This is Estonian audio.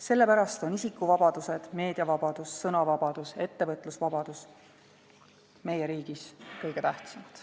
Sellepärast on isikuvabadused, meediavabadus, sõnavabadus, ettevõtlusvabadus meie riigis kõige tähtsamad.